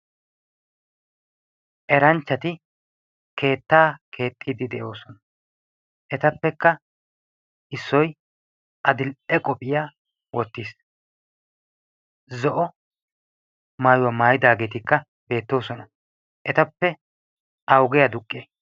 Eranchchati keettaa keexxiiddi de"oosona. Etappekka issoyi adill"e qophiya wottis. Zo"o maayuwa maayidaageetikka beettoosona. Etappe awugee aduqqii?